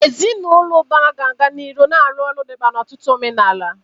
Ezinụlọ ụbara ga-aga n'ihu na-arụ ọrụ dị mkpa n'ọtụtụ omenala.